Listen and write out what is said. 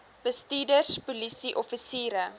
bestuurders polisie offisiere